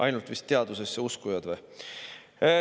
Ainult vist teadusesse uskujad.